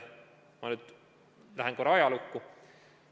Ma nüüd lähen korra ajalukku.